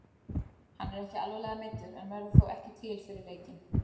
Hann er ekki alvarlega meiddur en verður þó ekki til fyrir leikinn.